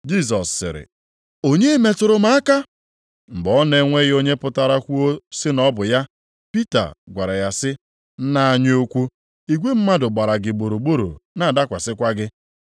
Jisọs sịrị, “Onye metụrụ m aka?” Mgbe ọ na-enweghị onye pụtara kwuo sị na ọ bụ ya. Pita gwara ya sị, “Nna anyị ukwu, igwe mmadụ gbara gị gburugburu na-adakwasịkwa gị.”